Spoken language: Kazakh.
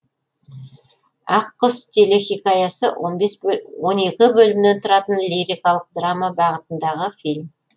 ақ құс телхикаясы он екі бөлімнен тұратын лирикалық драма бағытындағы фильм